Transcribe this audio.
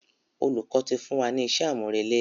Olùkọ́ ti fún wa ni iṣẹ́ àmúrelé.